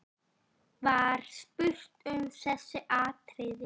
Var spurt um þessi atriði.